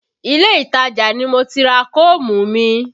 Ilé ìtajà ni mo ti ra koomu mi